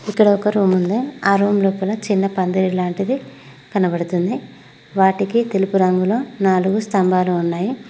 ఇక్కడ ఒక రూమ్ ఉంది ఆ రూమ్ లోపల చిన్న పందిరి లాంటిది కనబడుతుంది వాటికి తెలుపు రంగులో నాలుగు స్తంభాలు ఉన్నాయి.